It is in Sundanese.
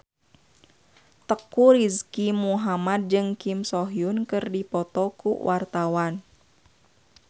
Teuku Rizky Muhammad jeung Kim So Hyun keur dipoto ku wartawan